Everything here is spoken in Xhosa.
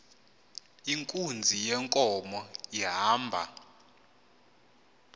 inkunzi yenkomo ihamba